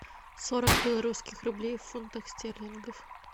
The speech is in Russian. сорок белорусских рублей в фунтах стерлингах